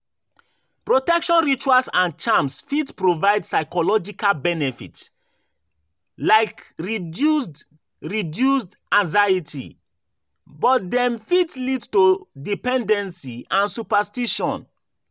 Protection rituals and charms fit provide psychological benefit like reduced reduced anxiety, but dem fit lead to dependency and superstition.